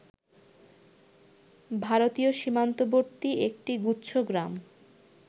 ভারতীয় সীমান্তবর্তী একটি গুচ্ছগ্রাম